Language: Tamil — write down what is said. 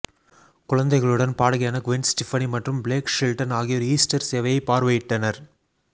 குழந்தைகளுடன் பாடகியான க்வென் ஸ்டீபனி மற்றும் பிளேக் ஷெல்டன் ஆகியோர் ஈஸ்டர் சேவையை பார்வையிட்டனர்